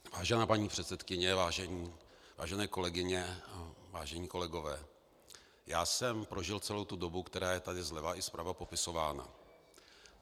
Vážená paní předsedkyně, vážené kolegyně a vážení kolegové, já jsem prožil celou tu dobu, která je tady zleva i zprava popisována.